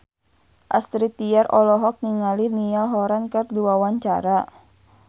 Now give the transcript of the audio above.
Astrid Tiar olohok ningali Niall Horran keur diwawancara